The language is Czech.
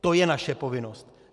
To je naše povinnost.